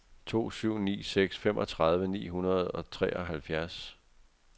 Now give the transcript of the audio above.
to syv ni seks femogtredive ni hundrede og treoghalvfjerds